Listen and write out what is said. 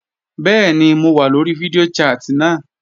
Bẹ́ẹ̀ni mo wà lóri fídíò chat náà